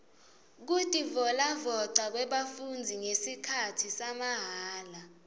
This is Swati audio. kutivolavoca kwebafundzi ngesikhatsi samahala